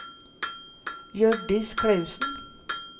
Hjørdis Clausen